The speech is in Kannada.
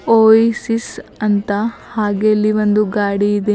ಓಯಾಸಿಸ್ ಅಂತ ಹಾಗೆ ಇಲ್ಲಿ ಒಂದು ಗಾಡಿ ಇದೆ.